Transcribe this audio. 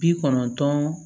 Bi kɔnɔntɔn